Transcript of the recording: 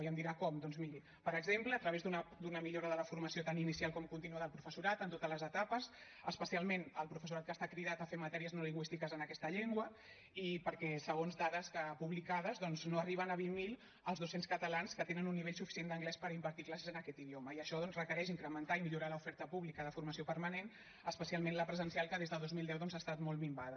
i em dirà com doncs miri per exemple a través d’una millora de la formació tant inicial com contínua del professorat en totes les etapes especialment el professorat que està cridat a fer matèries no lingüístiques en aquesta llengua i perquè segons dades publicades no arriben a vint mil els dos cents catalans que tenen un nivell suficient per impartir classes en aquest idioma i això doncs requereix incrementar i millorar l’oferta pública de formació permanent especialment la presencial que des de dos mil deu ha estat molt minvada